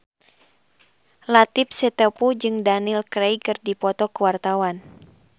Latief Sitepu jeung Daniel Craig keur dipoto ku wartawan